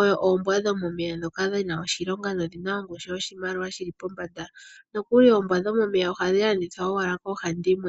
oyo oombwa dhomomeya dhoka dhina oshilonga nodhina ongushu yoshimaliwa shili pombanda, nokuli oombwa dhomomeya ohadhi landithwa owala koohandimwe.